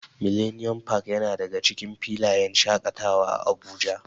Millennium park yana daga cikin filayen shaƙatawa a Abuja.